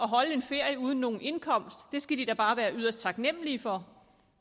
holde en ferie uden nogen indkomst skal de da bare være yderst taknemmelige for